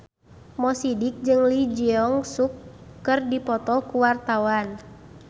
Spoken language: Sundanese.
Mo Sidik jeung Lee Jeong Suk keur dipoto ku wartawan